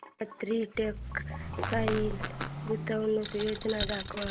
Gangotri textile गुंतवणूक योजना दाखव